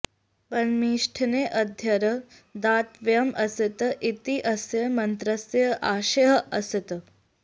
परमेष्ठिने अर्घ्यं दातव्यम् अस्ति इति अस्य मन्त्रस्य आशयः अस्ति